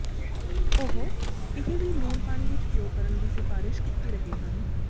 ਉਹ ਇਹ ਵੀ ਲੂਣ ਪਾਣੀ ਵਿਚ ਭਿਓ ਕਰਨ ਦੀ ਸਿਫਾਰਸ਼ ਕੀਤੀ ਰਹੇ ਹਨ